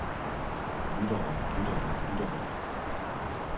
lyttere lyttere lyttere